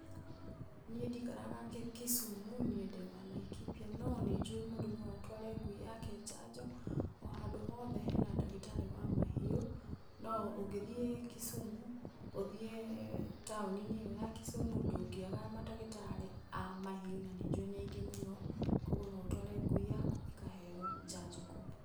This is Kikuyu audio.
Niĩ ndikaraga Kisumu, niĩ ndĩ wa Laikipia, no nĩ njũĩ mũndũ no atware ngui yake jajo, o handũ hothe hena ndagitarĩ wa mahiũ. No ũngĩthiĩ Kisumu, ũthiĩ taoni-inĩ ĩyo ya Kisumu ndũngĩaga mandagitarĩ a mahiũ na nĩ njũĩ nĩ aingĩ mũno. Koguo no ũtware ngui yaku ĩkaheyo jajo kũu.